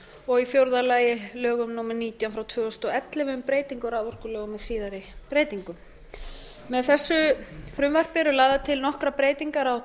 og í fjórða lagi lögum númer nítján tvö þúsund og ellefu um breytingu á raforkulögum með síðari breytingum með þessu frumvarpi eru lagðar til nokkrar breytingar á